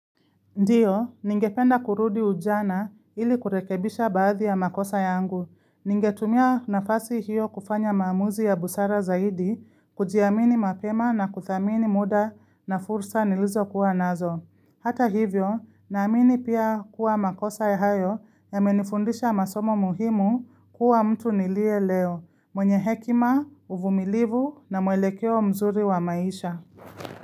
Ndiyo, ningependa kurudi ujana ili kurekebisha baadhi ya makosa yangu. Ningetumia nafasi hiyo kufanya maamuzi ya busara zaidi, kujiamini mapema na kuthamini muda na fursa nilizo kuwa nazo. Hata hivyo, naamini pia kuwa makosa ya hayo yamenifundisha masomo muhimu kuwa mtu nilie leo, mwenye hekima, uvumilivu na muelekeo mzuri wa maisha.